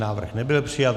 Návrh nebyl přijat.